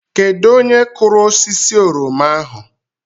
Kedu onye kụrụ osisi oroma ahụ?